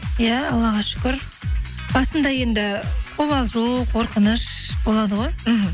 иә аллаға шүкір басында енді қобалжу қорқыныш болады ғой мхм